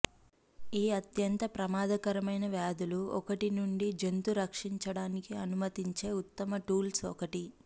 ఈ అత్యంత ప్రమాదకరమైన వ్యాధులు ఒకటి నుండి జంతు రక్షించడానికి అనుమతించే ఉత్తమ టూల్స్ ఒకటి